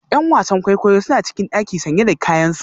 ’Yan wasan kwaikwayo suna cikin daki sanye da kayansu